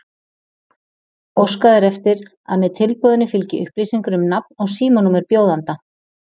Óskað er eftir að með tilboðinu fylgi upplýsingar um nafn og símanúmer bjóðanda.